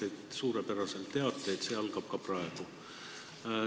Ja te teate suurepäraselt, et see algab ka praegu.